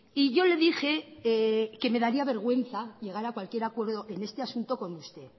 y yo le dije que me daría vergüenza llegar a cualquier acuerdo en este asunto con usted